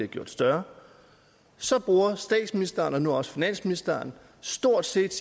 gjort større så bruger statsministeren og nu også finansministeren stort set